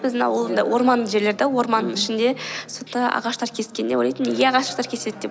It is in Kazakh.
біздің ауылында орманды жерлер да орманның мхм ішінде сонда ағаштар кескенде ойлайтынмын неге ағаштар кеседі деп